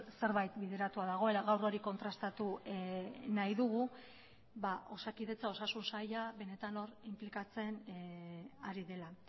zerbait bideratua dagoela gaur hori kontrastatu nahi dugu osakidetza osasun saila benetan hor inplikatzen ari dela